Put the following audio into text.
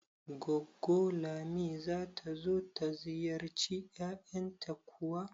Goggo Lami zata zo ta ziyarci yayanta kuwa?